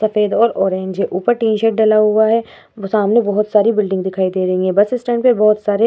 सफ़ेद और ऑरेंज है ऊपर टीन सेट डला हुआ है। ब सामने बोहोत सारी बिल्डिंग दिखाई दे रही हैं। बस इस स्टैंड पे बोहोत सारे --